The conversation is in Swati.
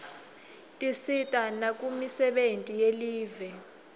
tisisita nakumisebenti yelive